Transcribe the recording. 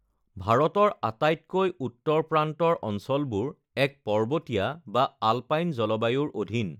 ভাৰতৰ আটাইতকৈ উত্তৰ প্ৰান্তৰ অঞ্চলবোৰ এক পৰ্বতীয়া বা আলপাইন জলবায়ুৰ অধীন৷